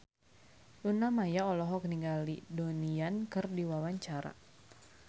Luna Maya olohok ningali Donnie Yan keur diwawancara